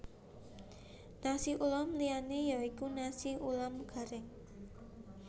Nasi ulam liyané ya iku nasi ulam garing